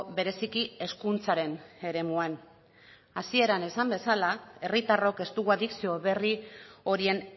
bereziki hezkuntzaren eremuan hasieran esan bezala herritarrok ez dugu adikzio berri horien